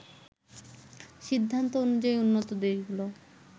সিদ্ধান্ত অনুযায়ী উন্নত দেশগুলো